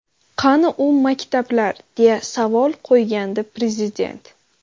Qani u maktablar?”, deya savol qo‘ygandi Prezident.